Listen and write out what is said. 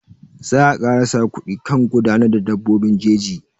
Za a kara sa kuɗi kan gudanar da dabbobin jeji.